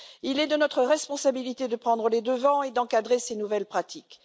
Il est de notre responsabilité de prendre les devants et d'encadrer ces nouvelles pratiques.